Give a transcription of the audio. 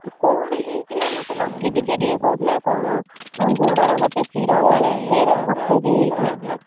କଣ ହେଇଥିଲା ମତେ ଲକି ଟିକେ ଟିକେ କହୁଥିଲା କଣ ଗୋଡର ଗୋଟେ ଶିର କାଳେ ଶୀର ଗୋଟେ blockage ହେଇଯାଇଥିଲା ।